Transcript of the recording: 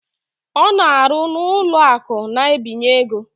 Ọ na-arụ n'ụlọakụ na-ebinye ego